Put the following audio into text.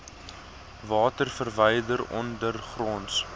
water verwyder ondergronds